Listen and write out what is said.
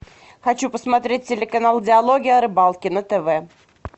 хочу посмотреть телеканал диалоги о рыбалке на тв